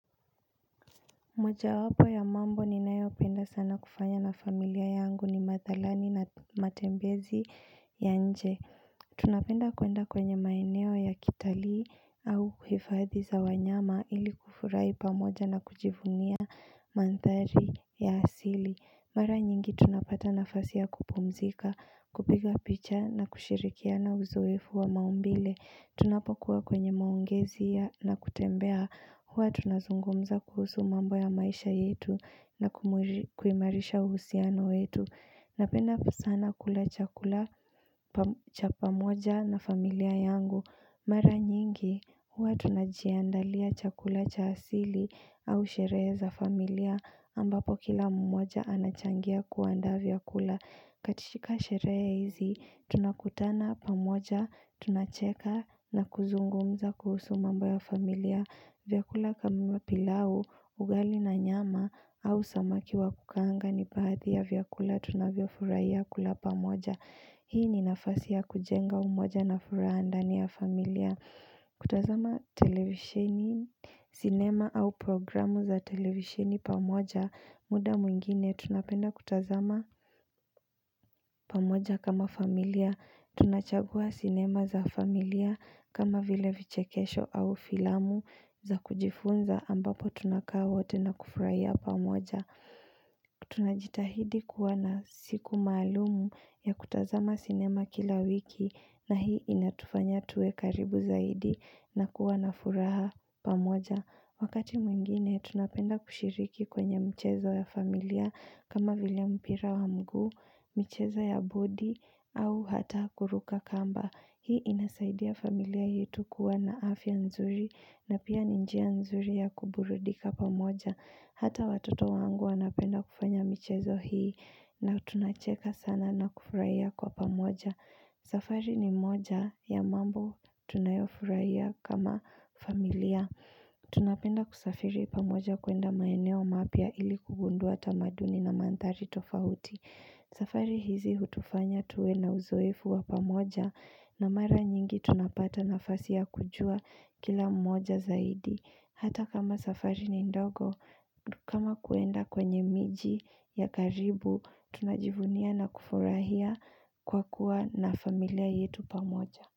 Moja wapo ya mambo ni nayo penda sana kufanya na familia yangu ni madhalani na matembezi ya nje Tunapenda kwenda kwenye maeneo ya kitalii au kwa hifadhi za wanyama ili kufurai pamoja na kujivumia Mandhari ya asili. Mara nyingi tunapata nafasi ya kupumzika, kupiga picha na kushirikiana uzoefu wa maumbile. Tunapokuwa kwenye maongezi ya na kutembea. Huwa tunazungumza kuhusu mambo ya maisha yetu na kuimarisha uhusiano yetu. Napenda kwa sana kula chakula cha pamoja na familia yangu Mara nyingi huwa tunajiandalia chakula cha asili au sherehe za familia ambapo kila mmoja anachangia kuanda vyakula katika sherehe hizi tunakutana pamoja tunacheka na kuzungumza kuhusu mambo ya familia vyakula kama pilau, ugali na nyama au samaki wa kukaanga ni baathi ya vyakula tunavyo furahia kula pamoja Hii ni nafasi ya kujenga umoja na furaha ndani ya familia kutazama televishini, sinema au programu za televishini pamoja muda mwingine tunapenda kutazama pamoja kama familia Tunachagua sinema za familia kama vile vichekesho au filamu za kujifunza ambapo tunakaa wote na kufurahia pamoja Tunajitahidi kuwa na siku maalum ya kutazama sinema kila wiki na hii inatufanya tuwe karibu zaidi na kuwa na furaha pamoja Wakati mwingine, tunapenda kushiriki kwenye mchezo ya familia kama vile mpira wa mgu, mchezo ya bodi, au hata kuruka kamba. Hii inasaidia familia yetu kuwa na afya nzuri na pia ni njia nzuri ya kuburudika pamoja. Hata watoto wangu wanapenda kufanya mchezo hii na tunacheka sana na kufurahia kwa pamoja. Safari ni moja ya mambo tunayofurahia kama familia. Tunapenda kusafiri pamoja kwenda maeneo mapya ili kugundua tamaduni na mandhari tofauti. Safari hizi hutufanya tuwe na uzoefu wa pamoja na mara nyingi tunapata nafasi ya kujua kila mmoja zaidi. Hata kama safari ni ndogo, kama kwenda kwenye miji ya karibu, tunajivunia na kufurahia kwa kuwa na familia yetu pamoja.